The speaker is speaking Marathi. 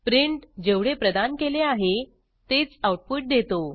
प्रिंट जेवढे प्रदान केले आहे तेच आऊटपुट देतो